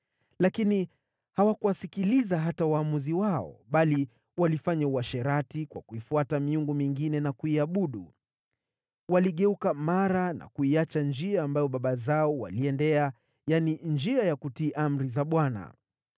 Lakini hawakuwasikiliza hata waamuzi wao, bali walifanya uasherati kwa kuifuata miungu mingine na kuiabudu. Waligeuka mara na kuiacha njia ambayo baba zao waliiendea, yaani, njia ya kutii amri za Bwana .